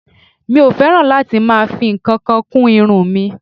Mi ò fẹ́ràn láti máa fi ǹkankan kún irun mi